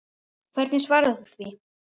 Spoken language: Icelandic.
Hvernig svarar þú því?